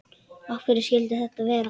Af hverju skyldi þetta vera?